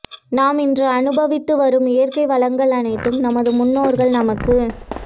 நாம் இன்று அனுபவித்து வரும் இயற்கை வளங்கள் அனைத்தும் நமது முன்னோர்கள் நமக்கு